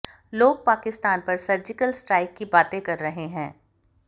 लोग पाकिस्तान पर surgical strike की बातें कर रहे हैं